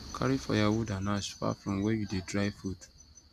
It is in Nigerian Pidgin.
carry firewood and ash far from where you dey dry food